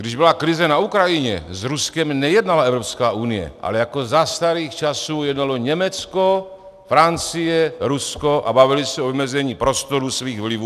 Když byla krize na Ukrajině, s Ruskem nejednala Evropská unie, ale jako za starých časů jednalo Německo, Francie, Rusko a bavili se o vymezení prostoru svých vlivů.